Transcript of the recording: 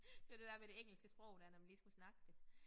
Det var det der med det engelske sprog der når man lige skulle snakke det